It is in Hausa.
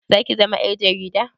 Zaki zama ƴar jarida?